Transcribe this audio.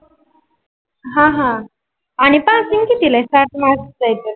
अह अह आणि passing कितील आहे साठ mark च आहे तर